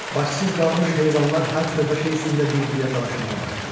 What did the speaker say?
Başsız qalmış heyvanlar hər xırda şey üstündə bir-biri ilə dalaşmağa başlayır.